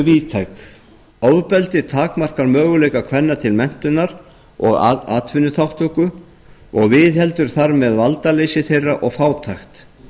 víðtæk ofbeldi takmarkar möguleika kvenna til menntunar og atvinnuþátttöku og viðheldur þar með valdaleysi þeirra og fátækt